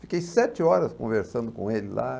Fiquei sete horas conversando com ele lá.